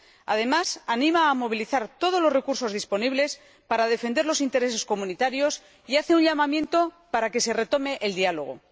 Además, anima a movilizar todos los recursos disponibles para defender los intereses comunitarios y hace un llamamiento para que se retome el diálogo.